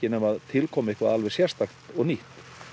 nema til komi eitthvað alveg sérstakt og nýtt